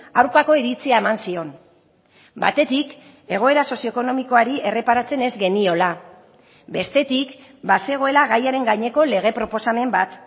aurkako iritzia eman zion batetik egoera sozioekonomikoari erreparatzen ez geniola bestetik bazegoela gaiaren gaineko lege proposamen bat